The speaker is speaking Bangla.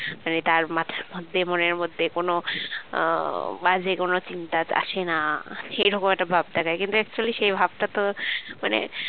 মানে তার মাথার মধ্যে মনের মধ্যে কোন বাজে কোন চিন্তা আসে না সেই রকম একটা ভাব দেখায় কিন্তু actually সেই ভাবটা তো মানে